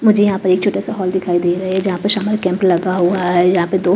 मुझे यहां पर एक छोटा हॉल दिखाई दे रहा है जहां पे समर कैंप लगा हुआ है यहां पे दो--